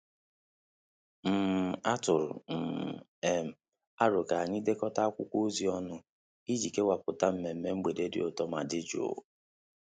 um A tụrụ um m arọ ka anyị dekọ akwụkwọ ozi ọnụ iji kewaputa mmemme mgbede dị ụtọ ma dị jụụ